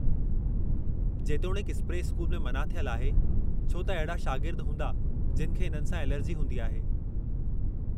जेतोणीकि, spray school में मना थियल आहे, छो त अहिड़ा शागिर्द हूंदा जिनि खे इन्हनि सां एलर्जी हूंदी आहे।